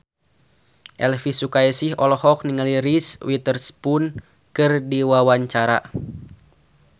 Elvy Sukaesih olohok ningali Reese Witherspoon keur diwawancara